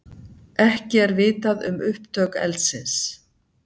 Ekki er vitað um upptök eldsins